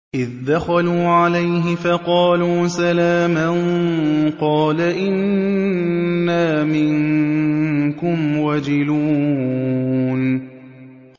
إِذْ دَخَلُوا عَلَيْهِ فَقَالُوا سَلَامًا قَالَ إِنَّا مِنكُمْ وَجِلُونَ